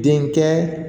Denkɛ